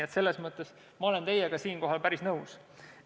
Kuid eelnevas olen ma teiega päris nõus.